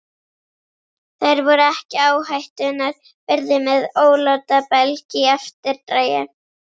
Þær voru ekki áhættunnar virði með ólátabelg í eftirdragi.